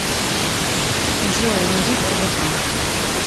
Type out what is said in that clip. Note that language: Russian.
джой найди рбк